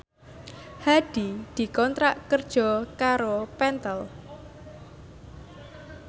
Hadi dikontrak kerja karo Pentel